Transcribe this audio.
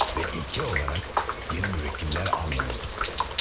Və ilki olaraq yeni müvəkkillər almıyorduk.